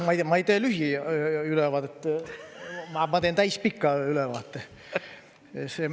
Ma ei tee lühiülevaadet, ma teen täispika ülevaate.